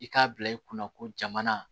I k'a bila i kunna ko jamana